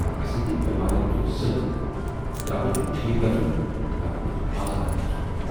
اسٕندِ بٮ۪مارِ تُل سِلہٕ۔ یا گوژھ یہِ ٹھیک گَژھُن نتہٕ گوژھ آزاد گَژھُن۔